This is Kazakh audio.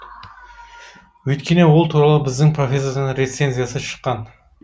өйткені ол туралы біздің профессордың рецензиясы шыққан